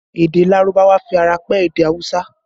Èdè Lárúbáwá fi ara pẹ́ èdè awusa